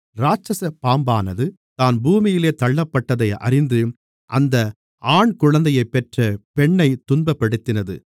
இராட்சசப் பாம்பானது தான் பூமியிலே தள்ளப்பட்டதை அறிந்து அந்த ஆண் குழந்தையைப் பெற்ற பெண்ணைத் துன்பப்படுத்தினது